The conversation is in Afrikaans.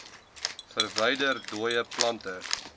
verwyder dooie plante